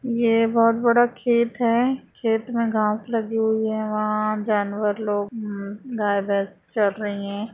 यह बहुत बड़ा खेत है खेत में घास लगी हुई है वह जानवर लोग मम गाय भैंस चर रही है।